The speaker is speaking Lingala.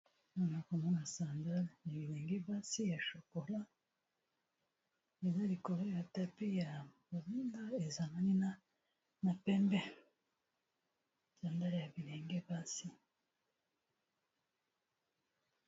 Ana komona sandale ya bilenge basi ya shokola iza bikolo ya tapi ya bolinda ezananina na pembe, sandale ya bilenge basi.